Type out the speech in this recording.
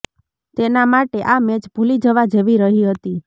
તેના માટે આ મેચ ભૂલી જવા જેવી રહી હતી